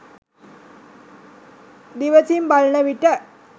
දිවැසින් බලන විට